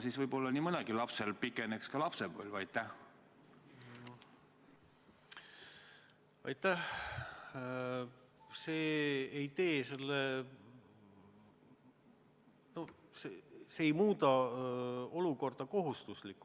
Siis võib-olla nii mõnelgi lapsel lapsepõlv pikeneks.